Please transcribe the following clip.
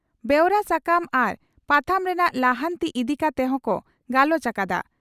ᱵᱮᱣᱨᱟ ᱥᱟᱠᱟᱢ ᱟᱨ ᱯᱟᱛᱷᱟᱢ ᱨᱮᱱᱟᱜ ᱞᱟᱦᱟᱱᱛᱤ ᱤᱫᱤ ᱠᱟᱛᱮ ᱦᱚᱸ ᱠᱚ ᱜᱟᱞᱚᱪ ᱟᱠᱟᱫᱼᱟ ᱾